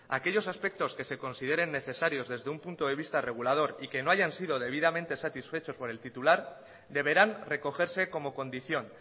aquellos aspectos que se consideren necesarios desde un punto de vista regulador y que no hayan sido debidamente satisfechos por el titular deberán recogerse como condición